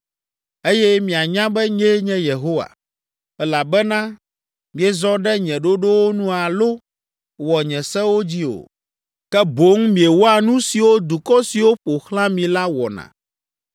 eye mianya be nyee nye Yehowa, elabena miezɔ ɖe nye ɖoɖowo nu alo wɔ nye sewo dzi o, ke boŋ miewɔa nu siwo dukɔ siwo ƒo xlã mi la wɔna.”